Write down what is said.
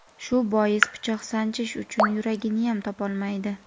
shu bois pichoq sanchish uchun yuraginiyam topolmaydi.